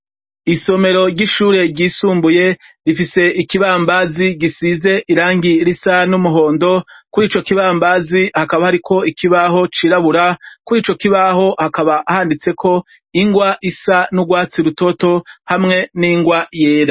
Isomero ry'ishure ryisumbuye ,rifise Ikibambazi gisize irangi risa n'umuhondo, kuri ico kibambazi hakaba hari ko ikibaho cirabura, kuri ico kibaho hakaba handitse ko ingwa isa n'ubwatsi rutoto, hamwe n'ingwa yera.